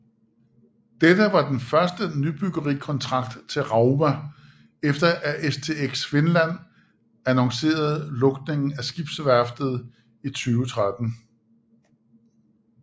Dette var den første nybyggerikontrakt til Rauma efter at STX Finland annoncerede lukningen af skibsværftet i 2013